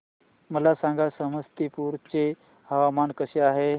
मला सांगा समस्तीपुर चे हवामान कसे आहे